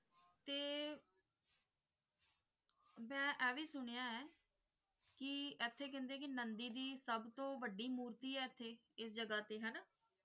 ਤੇ ਮੈਂ ਐ ਵੀ ਸੁਣਿਆ ਹੈ ਕਿ ਐਥੇ ਕਹਿੰਦੇ ਕਿ ਨੰਦੀ ਦਿ ਸਬਤੋ ਵੱਡੀ ਮੂਰਤੀ ਹੈ ਐਥੇ ਇਸ ਜਗਾਹ ਤੇ ਹੈਨਾ?